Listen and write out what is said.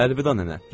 Əlvida nənə.